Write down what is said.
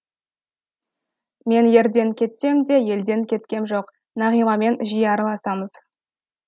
мен ерден кетсем де елден кеткем жоқ нағимамен жиі араласамыз